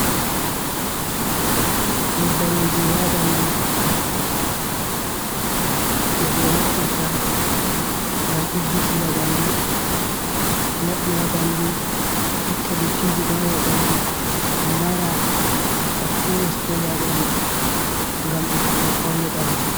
Nyebbam wujugo haa ɓandu je ko ɓe naftirta ngam diggitina ɓandu, laɓɓina ɓandu, itta dottijigo haa ɓandu, mbara bakteriyas ko woni haa ɓandu ngam ɓeddugo paune ɓandu.